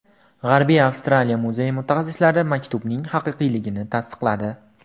G‘arbiy Avstraliya muzeyi mutaxassislari maktubning haqiqiyligini tasdiqladi.